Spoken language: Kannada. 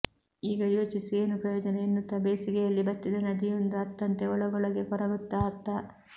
ಈಗ ಯೋಚಿಸಿ ಏನು ಪ್ರಯೋಜನ ಎನ್ನುತ್ತಾ ಬೇಸಿಗೆಯಲ್ಲಿ ಬತ್ತಿದ ನದಿಯೊಂದು ಅತ್ತಂತೆ ಒಳಗೊಳಗೇ ಕೊರಗುತ್ತ ಅತ್ತ